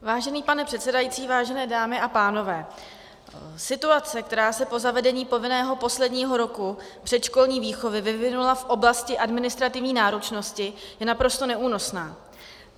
Vážený pane předsedající, vážené dámy a pánové, situace, která se po zavedení povinného posledního roku předškolní výchovy vyvinula v oblasti administrativní náročnosti, je naprosto neúnosná.